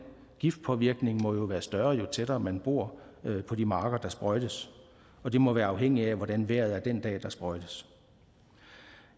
giftpåvirkning må jo være større jo tættere man bor på de marker der sprøjtes og det må være afhængigt af hvordan vejret er den dag der sprøjtes